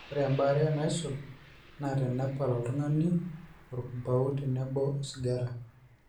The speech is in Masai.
ore ebaare naisul naa tenepal oltungani orkumpau tenebo osigara